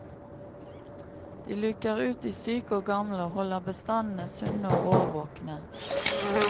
De luker ut de syke og gamle, og holder bestandene sunne og årvåkne.